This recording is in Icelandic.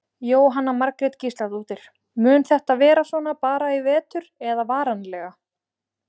Jóhanna Margrét Gísladóttir: Mun þetta vera svona bara í vetur eða varanlega?